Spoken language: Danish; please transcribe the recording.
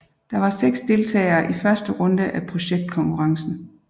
Der var seks deltagere i første runde af projektkonkurrencen